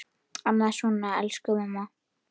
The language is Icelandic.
Annað svona: Elsku mamma!